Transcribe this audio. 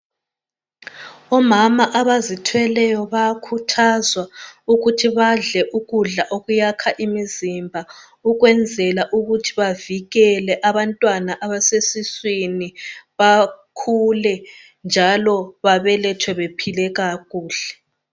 Omama abazithweleyo bayakhuthazwa ukuthi badle ukudla okuyakha imizimba ukwenzela ukuthi bavikele abantwana abasesiswini bakhule njalo babelethwe bephile kakuhle.